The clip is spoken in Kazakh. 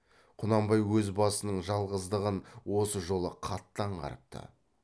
құнанбай өз басының жалғыздығын осы жолы қатты аңғарыпты